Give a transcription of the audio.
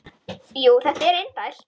Jú, þetta er indælt